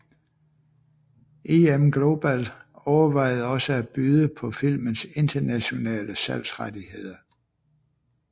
IM Global overvejede også at byde på filmens internationale salgsrettigheder